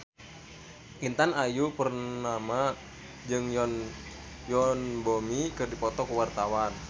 Intan Ayu Purnama jeung Yoon Bomi keur dipoto ku wartawan